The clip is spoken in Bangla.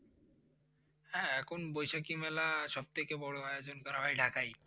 হ্যাঁ এখন বৈশাখী মেলা সব থেকে বড় আয়োজন করা হয় ঢাকাই।